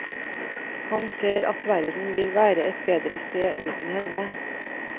Han ser at verden vil være et bedre sted uten henne.